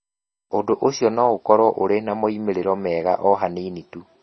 Ũndũ ũcio no ũkorũo ũrĩ na moimĩrĩro mega o hanini tu.